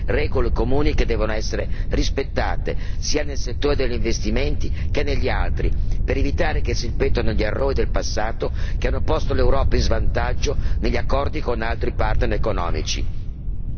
Un accordo con Pechino presuppone regole comuni che devono essere rispettate, sia nel settore degli investimenti che negli altri, per evitare che si ripetano gli errori del passato che hanno posto l'Europa in svantaggio negli accordi con altri partner economici.